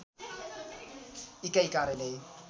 इकाइ कार्यालय